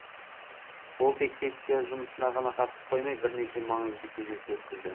ол тек сессия жұмысына ғана қатысып қоймай бірнеше маңызды кездесу өткізді